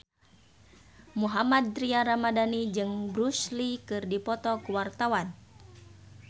Mohammad Tria Ramadhani jeung Bruce Lee keur dipoto ku wartawan